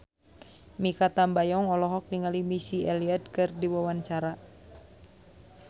Mikha Tambayong olohok ningali Missy Elliott keur diwawancara